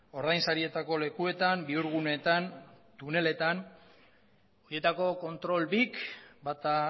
ordain sarietako lekuetan bihurguneetan tuneletan horietako kontrol bik bata